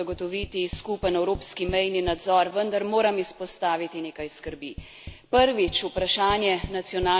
Strinjam se z vami, da je treba nujno zagotoviti skupen evropski mejni nadzor, vendar moram izpostaviti nekaj skrbi.